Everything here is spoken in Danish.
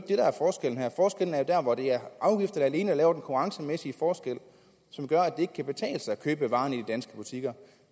der hvor det er afgifterne alene der laver den konkurrencemæssige forskel som gør at det ikke kan betale sig at købe varerne i danske butikker